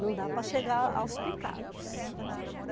Não dá para chegar aos picados. Uhum